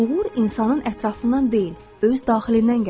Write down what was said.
Uğur insanın ətrafından deyil, öz daxilindən gəlir.